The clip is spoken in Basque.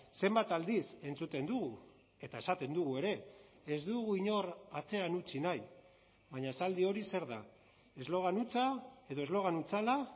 zenbat aldiz entzuten dugu eta esaten dugu ere ez dugu inor atzean utzi nahi baina esaldi hori zer da eslogan hutsa edo eslogan hutsala